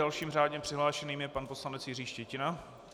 Dalším řádně přihlášeným je pan poslanec Jiří Štětina.